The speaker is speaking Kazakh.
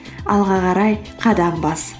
алға қарай қадам бас